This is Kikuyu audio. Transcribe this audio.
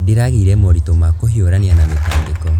Ndĩragĩire moritũ ma kũhiũrania na mĩtangĩko.